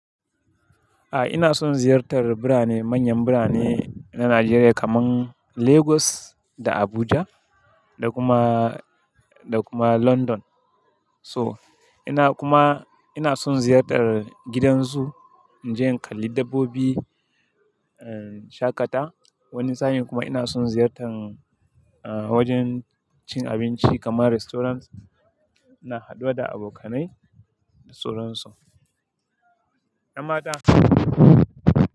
A'a ina son ziyartar birane manyan birane na Nijeriya kaman Lagos da Abuja da kuma, da kuma London. So ina kuma ina son ziyartar gidan zoo, in je in kalli dabbobi, in shaƙata. Wani sa'in kuma ina son ziyartan eh wajen cin abinci kaman restaurant, ina haduwa da abokanai da sauran su. 'Yan mata.